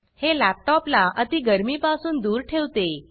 हे लॅपटॉप ला अती गरमि पासून दूर ठेवते